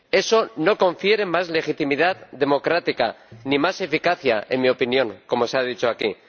Eso no confiere más legitimidad democrática, ni más eficacia —en mi opinión—, como se ha dicho aquí.